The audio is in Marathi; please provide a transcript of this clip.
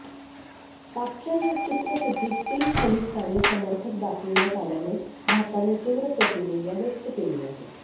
पाकच्या या चित्रफितीत तीन खलिस्तानी समर्थक दाखविण्यात आल्याने भारताने तीव्र प्रतिक्रिया व्यक्त केली आहे